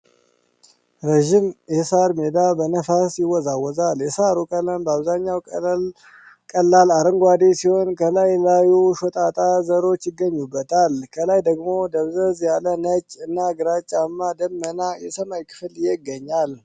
ረዣዥም የሳር ሜዳ በነፋስ ይወዛወዛል። የሳሩ ቀለም በአብዛኛው ቀላል አረንጓዴ ሲሆን፣ ከላዩ ላይ ሾጣጣ ዘሮች ይገኙበታል። ከላይ ደግሞ ደብዘዝ ያለ ነጭ እና ግራጫማ ደመና የሰማይ ክፍል ይገኛል።